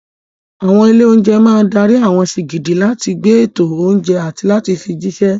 Àwọn ilé-oúnjẹ máa dárí àwọn sìgìdì láti gba ètò oúnjẹ àti láti fi jíṣẹ́.